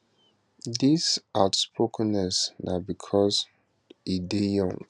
dis outspokenness na bicos e dey young